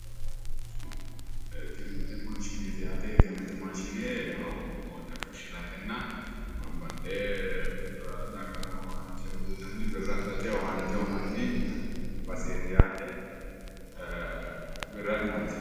Tini etiemmete maashineeti yaate, etiemmete maashine woxe fushshiratenna babbaxxewo dagara owaante uuyitanni birra adhate owaante uuyinanni baseeti yaate.